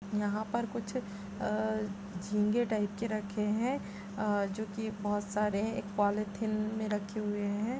यहाँ पर कुछ अ झींगे टाइप के रखे हैं अ जोकि बहुत सारे एक पोलीथिन में रखे हैं।